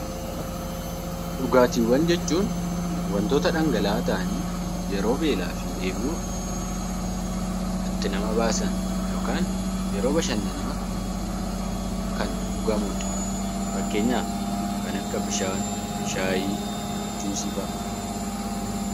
Dhugaatiiwwan jechuun wantoota dhangala'aa ta'anii yeroo beelaa fi dheebuu nama baasan yookaan yeroo bashannanaa kan dhugamudha. Fakkeenyaaf kan akka bishaan, buna, juusiifa'idha.